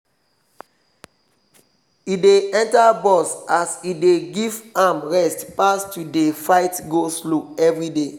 e dey enter bus as e dey give am rest pass to dey fight go-slow everyday.